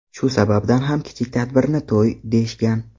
Shu sababdan ham kichik tadbirni to‘y deyishgan.